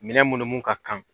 Minɛ munum mun ka kan